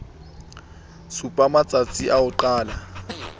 supa matstasi a ho qala